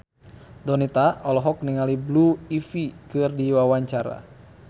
Donita olohok ningali Blue Ivy keur diwawancara